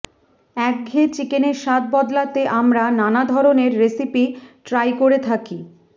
একঘেয়ে চিকেনের স্বাদ বদলাতে আমরা নানা ধরনের রেসিপি ট্রাই করে থাকি